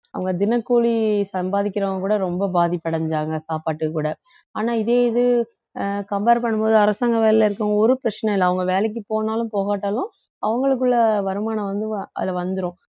அவங்க தினக்கூலி சம்பாதிக்கிறவங்க கூட ரொம்ப பாதிப்படைஞ்சாங்க சாப்பாட்டுக்கு கூட ஆனா இதே இது அஹ் compare பண்ணும் போது அரசாங்க வேலையில இருக்கிறவங்க ஒரு பிரச்சனையும் இல்லை அவங்க வேலைக்கு போனாலும் போகாட்டாலும் அவங்களுக்குள்ள வருமானம் வந்து அது வந்துரும்